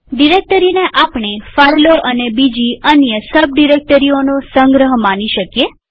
ડિરેક્ટરીને આપણે ફાઈલો અને બીજી અન્ય સબડિરેક્ટરીઓનો સંગ્રહ માની શકીએ